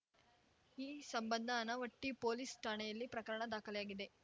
ಈ ಸಂಬಂಧ ಆನವಟ್ಟಿಪೊಲೀಸ್‌ ಠಾಣೆಯಲ್ಲಿ ಪ್ರಕರಣ ದಾಖಲಾಗಿದೆ